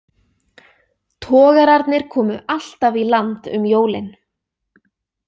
Togararnir komu alltaf í land um jólin.